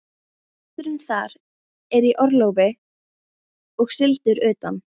Presturinn þar er í orlofi og sigldur utan.